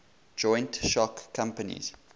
joint stock companies